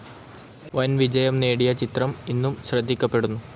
വൻ വിജയം നേടിയ ചിത്രം ഇന്നും ശ്രദ്ധിക്കപ്പെടുന്നു.